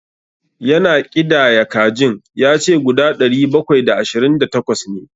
Ya na ƙidaya kajin, ya ce guda ɗari bakwai da ashirin da takwas ne.